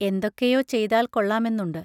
എന്തൊക്കെയോ ചെയ്താൽ കൊള്ളാമെന്നുണ്ട്.